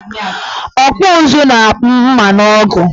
Ọkpụụzụ na-akpụ mma na ọgụ